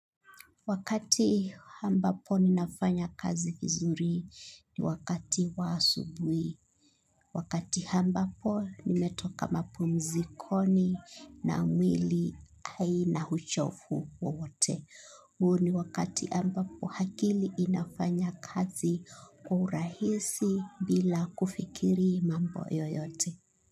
Wakati ambapo ninafanya kazi vizuri ni wakati wa asubuhi. Wakati ambapo nimetoka mapumzikoni na mwili haina uchovu wowote. Huo ni wakati ambapo akili inafanya kazi kwa urahisi bila kufikiri mambo yoyote.